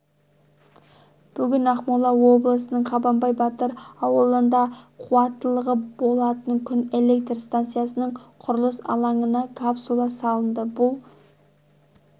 бүгін ақмола облысының қабанбай батыр ауылында қуаттылығы болатын күн электр станциясының құрылыс алаңына капсула салынды бұл